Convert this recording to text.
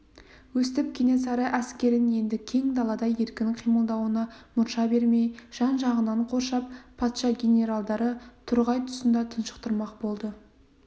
өстіп кенесары әскерін енді кең далада еркін қимылдауына мұрша бермей жан-жағынан қоршап патша генералдары торғай тұсында тұншықтырмақ болды